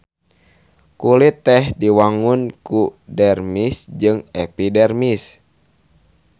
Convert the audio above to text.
Kulit teh diwangun ku dermis jeung epidermis.